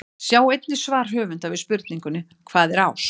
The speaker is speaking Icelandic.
Sjá einnig svar höfundar við spurningunni Hvað er ást?